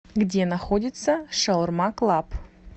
где находится шаурма клаб